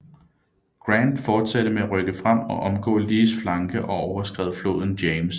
Grant fortsatte med at rykke frem og omgå Lees flanke og overskred floden James